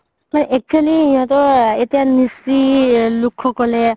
actually সিহতৰ এতিয়া মিচি লোক সকলে